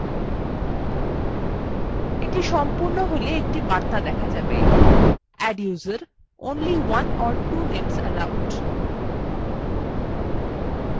এটি সম্পূর্ণ হল একটি বার্তা দেখা যাবে adduser : only one or two names allowed